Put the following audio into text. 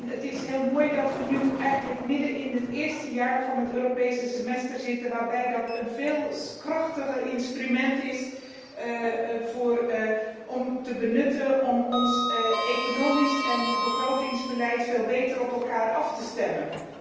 Het is heel mooi dat we nu eigenlijk midden in het eerste jaar van het Europees Semester zitten, dat dat een veel krachtiger instrument is om te benutten om ons economisch en begrotingsbeleid beter op elkaar af te stemmen.